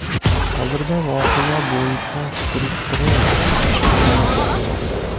Hozirda voqea bo‘yicha surishtiruv ishlari olib borilmoqda.